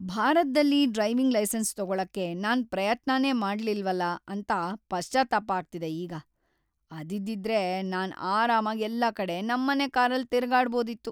ಭಾರತ್ದಲ್ಲಿ driving licence ತಗೊಳಕ್ಕೆ ನಾನ್ ಪ್ರಯತ್ನನೇ ಮಾಡಿಲ್ವಲ ಅಂತ ಪಶ್ಚಾತ್ತಾಪ ಆಗ್ತಿದೆ ಈಗ. ಅದಿದ್ದಿದ್ರೆ ನಾನ್‌ ಆರಾಮಾಗ್ ಎಲ್ಲಾ ಕಡೆ ನಮ್ಮನೆ ಕಾರಲ್ ತಿರ್ಗಾಡ್ಬೋದಿತ್ತು.